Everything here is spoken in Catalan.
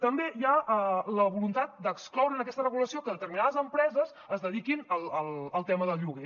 també hi ha la voluntat d’excloure en aquesta regulació que determinades empreses es dediquin al tema del lloguer